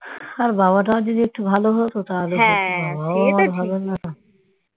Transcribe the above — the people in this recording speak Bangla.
আরে বাবা টা যদি ভাল হত তাহলেও চলত বাবাটাও তো ভালো না